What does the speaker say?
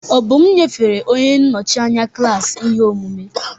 Obum nyefere onye nnọchi anya klaasị ihe omume.